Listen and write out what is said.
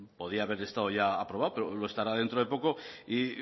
podría haber estado ya aprobado pero lo estará dentro de poco y